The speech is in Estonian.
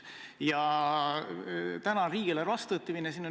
Täna on riigieelarve vastuvõtmine.